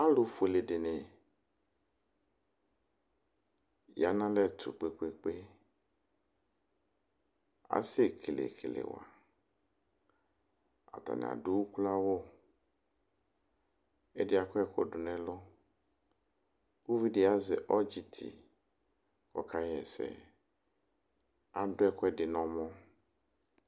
Ɔlu fuele dini ya nu alɛtu kpekpekpe Asɛkele kelewa Atani adu uklo awu ku ɛdi akɔ ɛku du nu ɛlu Uvidi azɛ ɔdzi ti ku ɔkaɣa ɛsɛ Adu ɛku ɛdi nu ɔmɔ